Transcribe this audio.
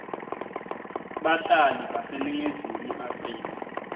bahlali baseningizimu afrika